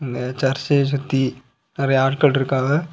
சர்ச்ச சுத்தி நெறைய ஆட்கள் இருக்காவ.